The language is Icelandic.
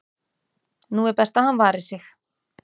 nú er best að hann vari sig,